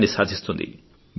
విజయాన్ని సాధిస్తుంది